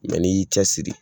Mɛ n'i y'i cɛ siri